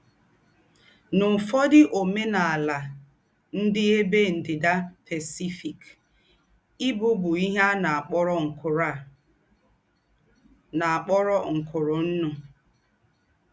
N’ứfọ́dụ̀ ǒmènàlà ndí́ Ébé Ndí́dà Pásífìk, ìbụ̀ bụ́ íhè à nà-àkpọ̀rọ̀ ńkụ̀rụ̀ à nà-àkpọ̀rọ̀ ńkụ̀rụ̀ nnụ̀.